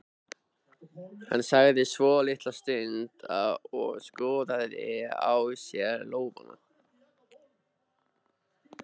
Hann þagði svolitla stund og skoðaði á sér lófana.